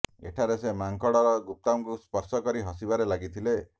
ଏଠାରେ ସେ ମାଙ୍କଡର ଗୁପ୍ତାଙ୍ଗକୁ ସ୍ପର୍ଶ କରି ହସିବାରେ ଲାଗିଥିଲେ